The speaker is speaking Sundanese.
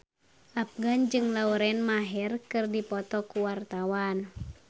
Afgan jeung Lauren Maher keur dipoto ku wartawan